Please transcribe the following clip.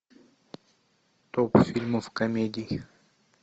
топ фильмов комедий